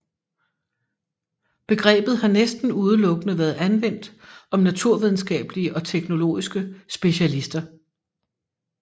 Begrebet har næsten udelukkende været anvendt om naturvidenskabelige og teknologiske specialister